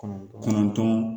Kɔnɔntɔn kɔnɔntɔn